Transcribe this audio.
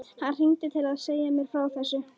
Hann hringdi til að segja mér frá þessu.